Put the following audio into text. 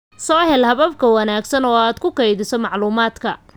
Soo hel habab ka wanaagsan oo aad ku kaydiso macluumaadka.